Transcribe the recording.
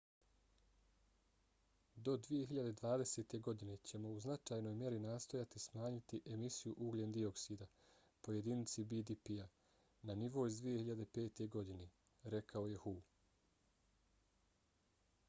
do 2020. godine ćemo u značajnoj mjeri nastojati smanjiti emisiju ugljen dioksida po jedinici bdp-a na nivo iz 2005. godine, rekao je hu